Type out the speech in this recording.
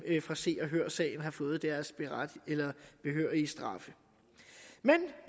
fra se og hør sagen har fået deres behørige straffe men